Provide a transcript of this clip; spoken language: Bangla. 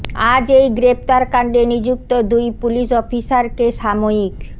আজ এই গ্রেফতার কান্ডে নিযুক্ত দুই পুলিস অফিসারকে সাময়িক